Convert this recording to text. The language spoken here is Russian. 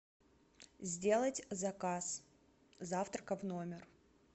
сделать заказ завтрака в номер